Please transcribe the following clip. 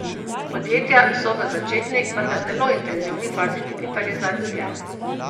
Podjetja so v začetni, vendar zelo intenzivni fazi digitalizacije.